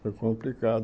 Foi complicado.